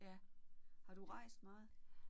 Ja. Har du rejst meget?